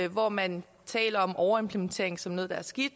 hvor man taler om overimplementering som noget der er skidt